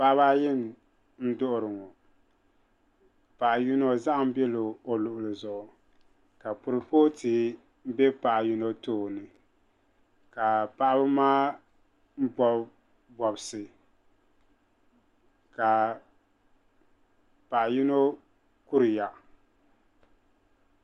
Paɣiba ayi n-duɣiri ŋɔ paɣa yino zahim bela o luɣili zuɣu ka kurifooti be paɣa yino tooni ka paɣiba maa bɔbi bɔbisi ka paɣa yino kuriya.